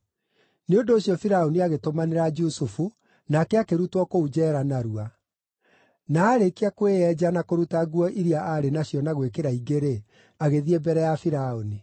Nĩ ũndũ ũcio Firaũni agĩtũmanĩra Jusufu, nake akĩrutwo kũu njeera narua. Na aarĩkia kwĩyenja na kũruta nguo iria arĩ nacio na gwĩkĩra ingĩ-rĩ, agĩthiĩ mbere ya Firaũni.